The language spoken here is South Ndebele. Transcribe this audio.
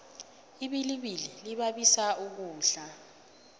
ibilibili libabiso ukudla